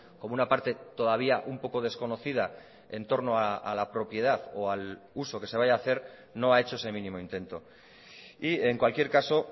como una parte todavía un poco desconocida en torno a la propiedad o al uso que se vaya a hacer no ha hecho ese mínimo intento y en cualquier caso